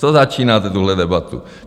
Co začínáte tuhle debatu?